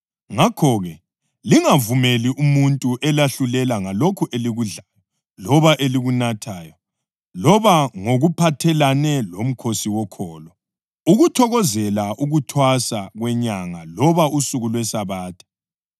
Ngakho-ke, lingavumeli umuntu elahlulela ngalokho elikudlayo loba elikunathayo loba ngokuphathelane lomkhosi wokholo, ukuthokozela ukuthwasa kwenyanga loba usuku lweSabatha.